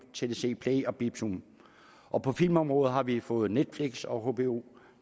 tdc play og beep zone og på filmområdet har vi fået netflix og hbo